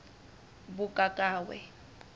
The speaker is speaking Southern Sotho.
mokakawe